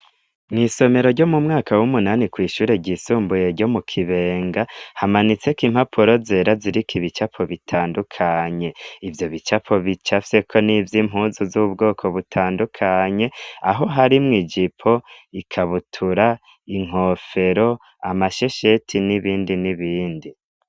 Mw' isomero ryo mu mwaka w'umunani kw' ishure ry'isumbuye ryo mu Kibenga, hamanitseko impapuro zera ziriko ibicapo bitandukanye . Ivyo bicapo bicafyeko n'ivy' impuzu z'ubwoko butandukanye, aho harimwo ijipo, ikabutura, inkofero, amashesheti n'ibindi n'ibindi.